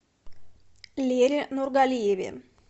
лере нургалиеве